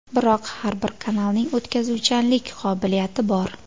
Biroq har bir kanalning o‘tkazuvchanlik qobiliyati bor.